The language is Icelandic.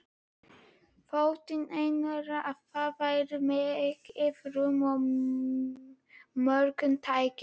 Þótti Einari, að þar væri mikið rúm og mörg tæki.